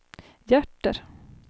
hjärter